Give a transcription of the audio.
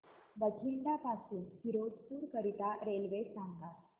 बठिंडा पासून फिरोजपुर करीता रेल्वे सांगा